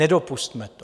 Nedopusťme to.